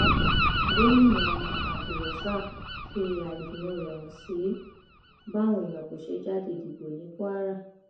gomina abdulrosaq fi àìdùnnú rẹ hàn sí báwọn èèyàn kò ṣe jáde dìbò ní kwara